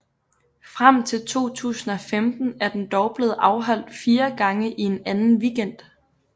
Frem til 2015 er den dog blevet afholdt fire gange i en anden weekend